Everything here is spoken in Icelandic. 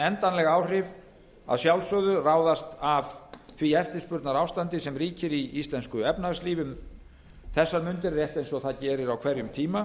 endanleg áhrif að sjálfsögðu ráðast af því eftirspurnarástandi sem ríkir í íslensku efnahagslífi um þessar mundir rétt eins og það gerir á hverjum tíma